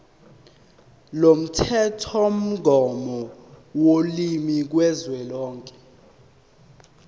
lomthethomgomo wolimi kazwelonke